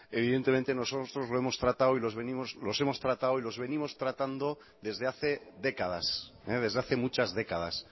evidentemente nosotros lo hemos tratado y los venimos tratando desde hace décadas desde hace muchas décadas